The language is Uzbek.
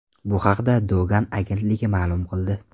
Bu haqda Dogan agentligi ma’lum qildi .